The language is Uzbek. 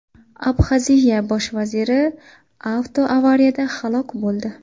Abxaziya bosh vaziri avtoavariyada halok bo‘ldi.